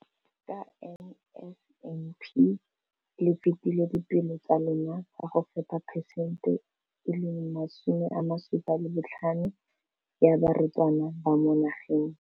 Ka NSNP le fetile dipeelo tsa lona tsa go fepa masome a supa le botlhano a diperesente ya barutwana ba mo nageng.